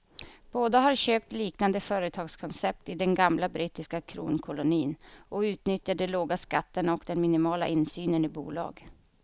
Båda har köpt liknande företagskoncept i den gamla brittiska kronkolonin och utnyttjar de låga skatterna och den minimala insynen i bolag.